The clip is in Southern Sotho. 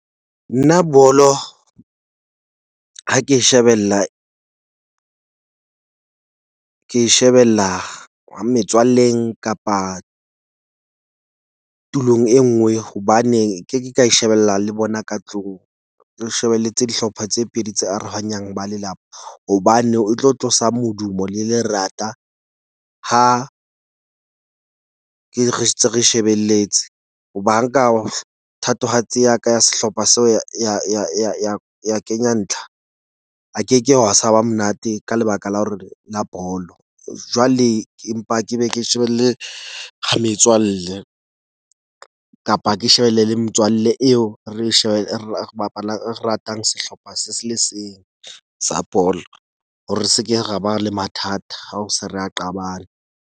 Nna bolo ha ke shebella ke shebella ha metswalleng kapa tulong e nngwe. Hobane nke ke ka e shebella le bona ka tlung. Re shebeletse dihlopha tse pedi tse arohanyeng ba lelapa hobane o tlo tlosa modumo le lerata. Ha ke re re shebeletse ho ba nka thatohatsi ya ka ya sehlopha seo ya kenya ntlha. Ha ke ke ha sa wa monate ka lebaka la hore la bolo jwale, empa ke be ke shebelle metswalle. Kapa ke shebelle le le metswalle eo re shebe re bapalang re ratang sehlopha se se le seng sa bolo hore se ke ra ba le mathata a o se re a qabane.